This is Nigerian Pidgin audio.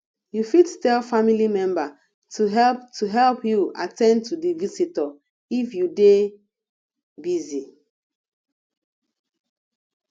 you fit tell family member to help to help you at ten d to the visitor if you dey busy